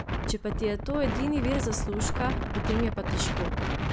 Če pa ti je to edini vir zaslužka, potem je pa težko.